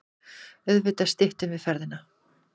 Auðvitað styttum við ferðina.